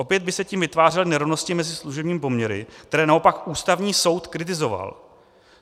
Opět by se tím vytvářely nerovnosti mezi služebními poměry, které naopak Ústavní soud kritizoval.